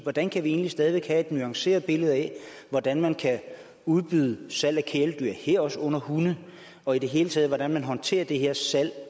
hvordan kan vi egentlig stadig væk have et nuanceret billede af hvordan man kan udbyde og sælge kæledyr herunder hunde og i hele taget hvordan man håndterer det her salg